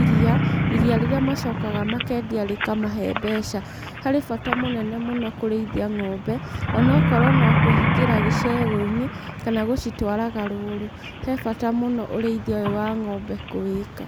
iriia, iriia rĩrĩa macokaga makendia rĩkamahe mbeca. Harĩ bata mũnene mũno kũrĩithia ng'ombe, onokorwo no kũhingĩra gĩcegũ-inĩ, kana gũcitwaraga rũru, he bata mũno ũrĩithia ũyũ wa ng'ombe kũwĩka.